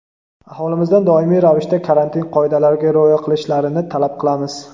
aholimizdan doimiy ravishda karantin qoidalariga rioya qilishlarini talab qilamiz.